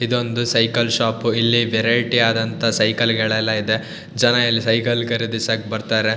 ಇದೊಂದು cycle shop . ಇಲ್ಲಿ variety ಆದಂತ ಸೈಕಲ್ ಗಳೆಲ್ಲಾ ಇದೆ ಜನ ಇಲ್ಲಿ ಸೈಕಲ್ ಖರೀದಿಸಕ್ಕೆ ಬರ್ತಾರೆ.